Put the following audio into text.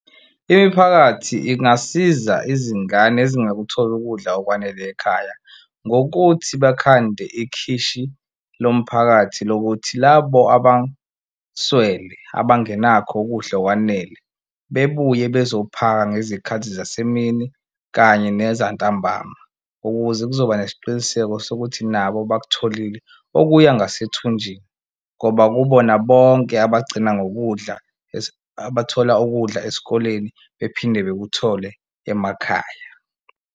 Imiphakathi ingasiza izingane ezingakutholi ukudla okwanele ekhaya ngokuthi bakhande ikhishi lomphakathi lokuthi labo abaswele abangenakho ukudla okwanele bebuye bezophaka ngezikhathi zasemini kanye nezantambama, ukuze kuzoba nesiqiniseko sokuthi nabo bakutholile okuya ngasethunjwini. Ngoba kubona bonke abagcina ngokudla abathola ukudla esikoleni bephinde bekuthole emakhaya.